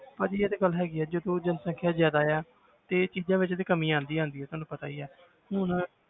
ਹਾਂਜੀ ਇਹ ਤੇ ਗੱਲ ਹੈਗੀ ਹੈ ਜਦੋਂ ਜਨਸੰਖਿਆ ਜ਼ਿਆਦਾ ਆ ਤੇ ਚੀਜ਼ਾਂ ਵਿੱਚ ਤੇ ਕਮੀ ਆਉਂਦੀ ਹੈ ਤੁਹਾਨੂੰ ਪਤਾ ਹੀ ਹੈ ਹੁਣ